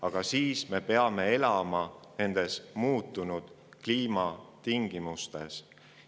Aga siis me peame elama nendes muutunud kliimatingimustes.